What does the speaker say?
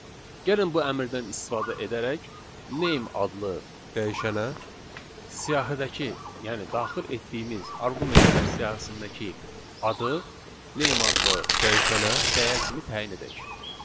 Gəlin bu əmrdən istifadə edərək name adlı dəyişənə siyahıdakı, yəni daxil etdiyimiz arqumentlər siyahısındakı adı name adlı dəyişənə dəyər kimi təyin edək.